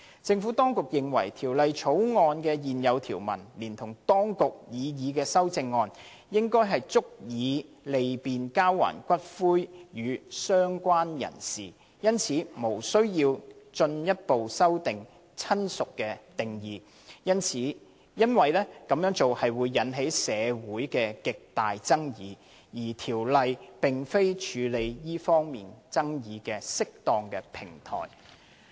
政府當局認為，《條例草案》現有條文連同當局的擬議修正案，應足以利便交還骨灰予"相關人士"，因此無須進一步修訂"親屬"的定義，因為此舉會引起社會極大爭議，而《條例草案》並非處理這方面爭議的適當平台。